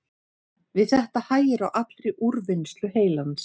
Við þetta hægir á allri úrvinnslu heilans.